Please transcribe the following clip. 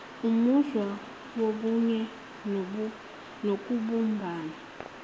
umuzwa wobunye nokubumbana